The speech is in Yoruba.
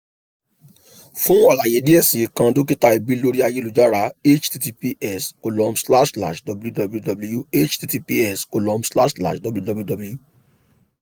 fun alaye diẹ sii kan dokita ẹbi lori ayelujara https column slash slash www https column slash slash www